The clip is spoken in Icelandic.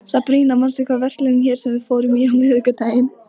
Sabrína, manstu hvað verslunin hét sem við fórum í á miðvikudaginn?